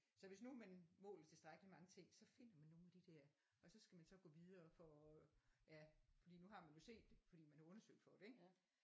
Så hvis nu man måler tilstrækkeligt mange ting så finder man nogle af de der og så skal man så gå videre for at ja fordi nu har man jo set det fordi man har undersøgt for det ik